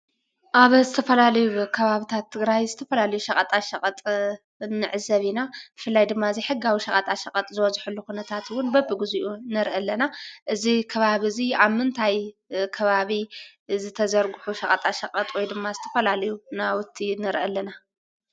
ኣብ ዝተፈላለዩ ከባቢታት ትግራይ ዝተፈላልዩ ሸቐጣ ሸቐጥ ንዕዘብ ኢና ብፍላይ ድማ እዘይሕጋዊ ሸቓጣ ሸቐጥ ዝበዝሓሉ ኩነታት'ውን በብግዚኡ ንርኢ ኣለና እዚ ከባብ እዙይ ኣብ ምንታይ ከባቢ ዝተዘርገሑ ሸቐጣ ሸቐጥ ወይ ድማ ዝተፈላልዩ ናውቲ ንርኢ ኣለና።